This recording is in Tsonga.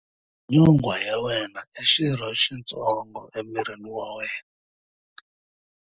Nyonghwa ya wena i xirho xitsongo emirini wa wena.